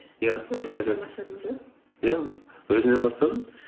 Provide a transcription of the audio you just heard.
иә бастадыңыз ба иә өзімнен бастадым